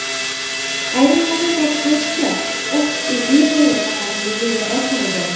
Ayrimlarning ta’kidlashicha, optik illyuziyani faqat miya yaratmaydi.